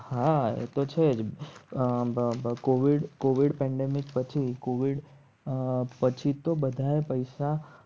હા હમ એ તો છે કોવીડ પેંડેમીક પછી કોવીડ પછી તો બધાએ પૈસા